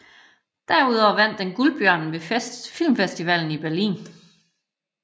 Derudover vandt den Guldbjørnen ved Filmfestivalen i Berlin